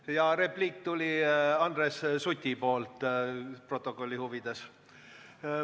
Stenogrammi huvides ütlen, et see repliik Andres Sutilt tuli, kuna tema nime nimetati.